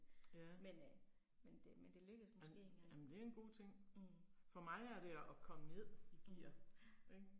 Ja. Jamen jamen det er en god ting. For mig er det at at komme ned i gear, ik